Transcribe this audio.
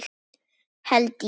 Held ég!